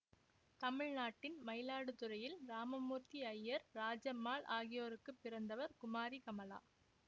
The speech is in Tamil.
தமிழ்நாட்டின் மயிலாடுதுறையில் ராமமூர்த்தி ஐயர் ராஜம்மாள் ஆகியோருக்குப் பிறந்தவர் குமாரி கமலா